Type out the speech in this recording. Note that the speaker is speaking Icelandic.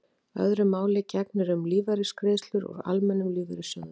öðru máli gegnir um lífeyrisgreiðslur úr almennum lífeyrissjóðum